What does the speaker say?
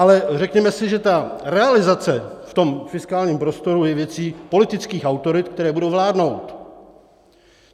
Ale řekněme si, že ta realizace v tom fiskálním prostoru je věcí politických autorit, které budou vládnout.